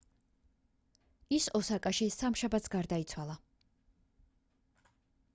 ის ოსაკაში სამშაბათს გარდაიცვალა